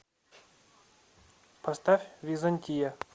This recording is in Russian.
поставь византия